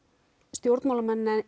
stjórnmálamenn